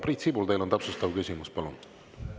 Priit Sibul, teil on täpsustav küsimus, palun!